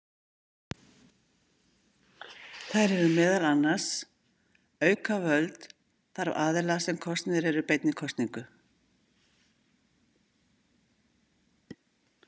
Þær eru meðal annars: Auka völd þarf aðila sem kosnir eru beinni kosningu.